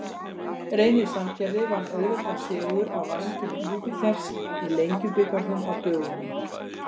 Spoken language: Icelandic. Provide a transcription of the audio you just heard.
Reynir Sandgerði vann auðveldan sigur á Vængjum Júpíters í Lengjubikarnum á dögunum.